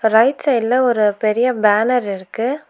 Right சைடுல ஒரு பெரிய பேனர் இருக்கு.